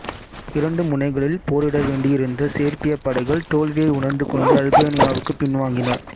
இரண்டு முனைகளில் போரிடவேண்டியிருந்த சேர்பியப் படைகள் தோல்வியை உணர்ந்துகொண்டு அல்பேனியாவுக்குப் பின்வாங்கின